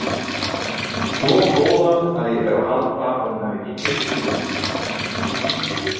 Svo góðan að ég fer að halda að hún hafi ekki heyrt spurninguna.